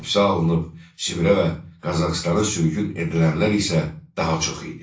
Həbsə alınıb Sibirə və Qazaxstana sürgün edilənlər isə daha çox idi.